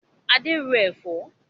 Adé ń ro Ẹ̀fọ́